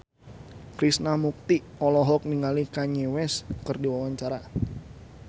Krishna Mukti olohok ningali Kanye West keur diwawancara